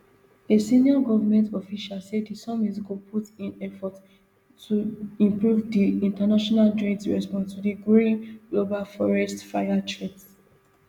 a senior government official say di summit go put in effort to improve di international joint response to di growing global forest fire threat